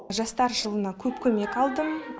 жастар жылына көп көмек алдым